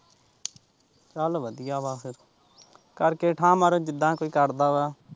ਚੱਲ ਵਧੀਆ ਬਸ ਕਰਕੇ ਠਾ ਮਾਰੋ ਜਿਦਾ ਕੋਈ ਕਰਦਾ ਆ।